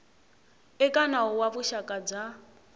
eka nawu wa vuxaka bya